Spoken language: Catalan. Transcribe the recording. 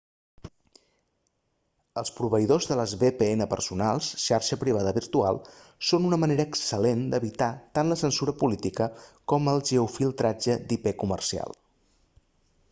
els proveïdors de les vpn personals xarxa privada virtual són una manera excel·lent d'evitar tant la censura política com el geo-filtratge d'ip comercial